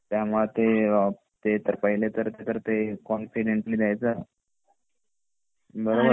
त्या मुळे ते ते तर पहिले तर ते कॉन्फिडेंटली द्यायच बरोबर